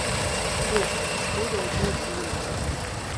сбер в сбере одни жулики